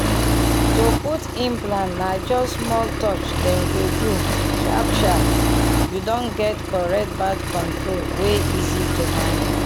to put implant na just small touch dem go do — sharp-sharp you don get correct birth control wey easy to manage.